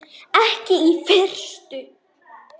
Ekki í fyrstu.